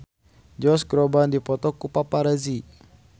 Josh Groban dipoto ku paparazi